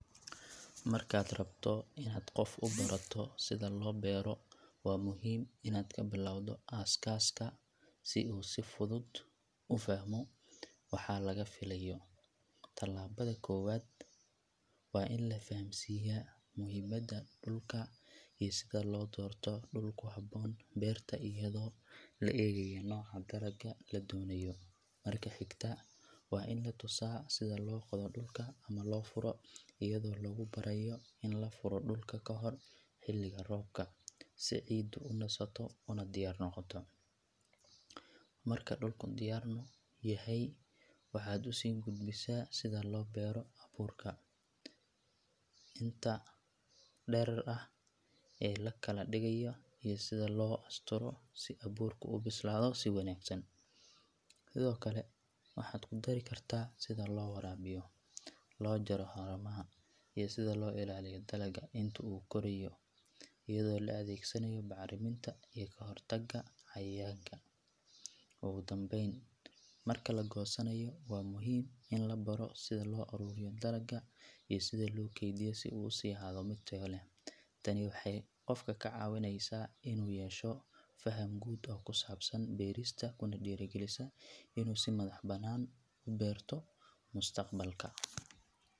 Markaad rabto inaad qof u barato sida loo beero waa muhiim inaad ka bilowdo aasaaska si uu si fudud u fahmo waxa laga filayo. Tallaabada koowaad waa in la fahamsiiyaa muhiimadda dhulka iyo sida loo doorto dhul ku habboon beerta iyadoo la eegayo nooca dalagga la doonayo. Marka xigta waa in la tusaa sida loo qodo dhulka ama loo furo iyadoo lagu barayo in la furo dhulka ka hor xilliga roobka si ciiddu u nasato una diyaar noqoto. Marka dhulku diyaar yahay waxaad u sii gudbisaa sida loo beero abuurka, inta dherer ah ee la kala dhigayo iyo sida loo asturo si abuurku u bislaado si wanaagsan. Sidoo kale waxaad ku dari kartaa sida loo waraabiyo, loo jaro haramaha iyo sida loo ilaaliyo dalagga inta uu korayo iyadoo la adeegsanayo bacriminta iyo ka hortagga cayayaanka. Ugu dambayn, marka la goosanayo waa muhiim in la baro sida loo ururiyo dalagga iyo sida loo kaydiyo si uu u sii ahaado mid tayo leh. Tani waxay qofka ka caawinaysaa inuu yeesho faham guud oo ku saabsan beerista kuna dhiirrigelisaa inuu si madaxbannaan u beerto mustaqbalka.